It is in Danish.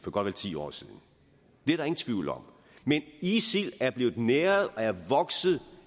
og vel ti år siden det er der ingen tvivl om men isil er blevet næret og er vokset